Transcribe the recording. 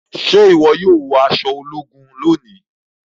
Ṣe iwọ yóò wọ aṣọ ogun lóni?